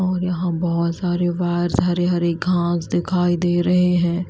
और यहां बहुत सारे वायर्स हरे-हरे घास दिखाई दे रहे हैं।